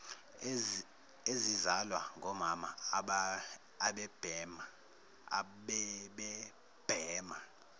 ezizalwa ngomama abebebhema